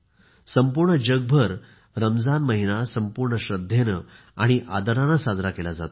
संपूर्ण जगभर रमजान महिना संपूर्ण श्रद्धेने आणि आदराने साजरा केला जातो